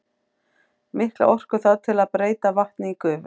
Mikla orku þarf til að breyta vatni í gufu.